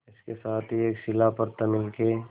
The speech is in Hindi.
इसके साथ ही एक शिला पर तमिल के